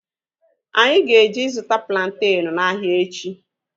Anyị ga-eje ịzụta plantenu n'ahia echi